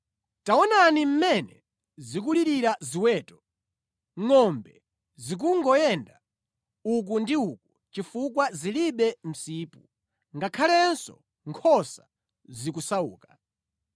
Taonani mmene zikulirira ziweto; ngʼombe zikungoyenda uku ndi uku chifukwa zilibe msipu; ngakhalenso nkhosa zikusauka.